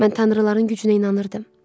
Mən tanrıların gücünə inanırdım.